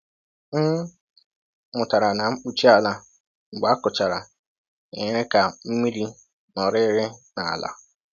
M mụtara na mkpuchi ala mgbe a kụchara enyere ka mmiri nọrịrị n’ala.